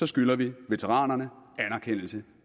skylder vi veteranerne anerkendelse